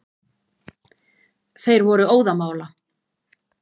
Þeir voru óðamála.